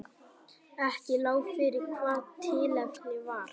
Ekki lá fyrir hvað tilefnið var